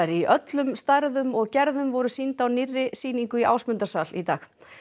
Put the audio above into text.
í öllum stærðum og gerðum voru sýnd á nýrri sýningu í Ásmundarsal í dag